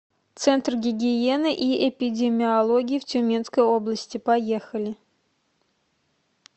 центр гигиены и эпидемиологии в тюменской области поехали